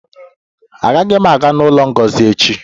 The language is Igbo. Aga m aga n'ụlọ Ngozi echi